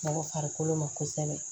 Mɔgɔ farikolo ma kosɛbɛ